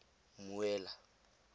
mmuela